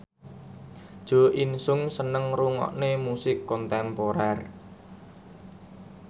Jo In Sung seneng ngrungokne musik kontemporer